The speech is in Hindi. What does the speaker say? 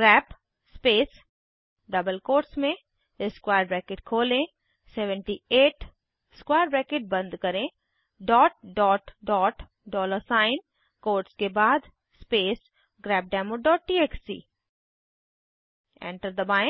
ग्रेप स्पेस डबल कोट्स में स्क्वायर ब्रैकेट खोलें 78 स्क्वायर ब्रैकेट बंद करें डॉलर साइन कोट्स के बाद स्पेस grepdemoटीएक्सटी एंटर दबाएं